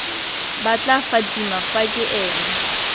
batla fatima fa ke ene